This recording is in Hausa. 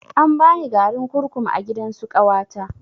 An bani garin kurkum a gidansu ƙawata